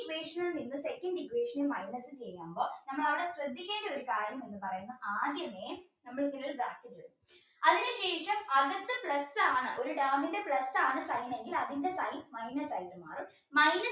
equation ൽ നിന്ന് second equation minus ചെയ്യുമ്പോൾ നമ്മൾ അവിടെ ശ്രദ്ധിക്കേണ്ട ഒരു കാര്യം പറയുന്നത് ആദ്യമേ നമ്മൾ അതിനുശേഷം അടുത്ത plus ആണ് ഒരു term ന്റെ plus ആണ് sign എങ്കിൽ അതിൻറെ മാറും minus